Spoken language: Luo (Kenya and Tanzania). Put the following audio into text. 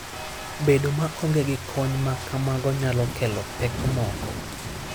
Bedo maonge gi kony ma kamago nyalo kelo pek moko.